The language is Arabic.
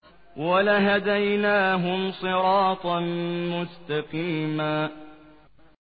وَلَهَدَيْنَاهُمْ صِرَاطًا مُّسْتَقِيمًا